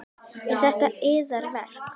Eru þetta yðar verk?